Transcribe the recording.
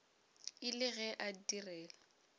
e le ge a direla